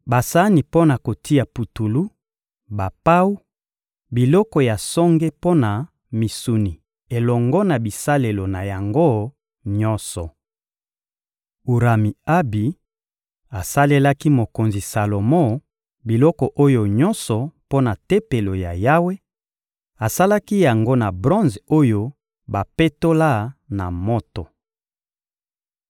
basani mpo na kotia putulu, bapawu, biloko ya songe mpo na misuni elongo na bisalelo na yango nyonso. Urami-Abi asalelaki mokonzi Salomo biloko oyo nyonso mpo na Tempelo ya Yawe; asalaki yango na bronze oyo bapetola na moto.